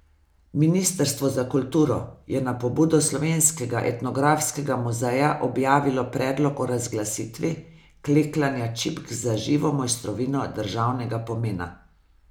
Ministrstvo za kulturo je na pobudo Slovenskega etnografskega muzeja objavilo predlog o razglasitvi klekljanja čipk za živo mojstrovino državnega pomena.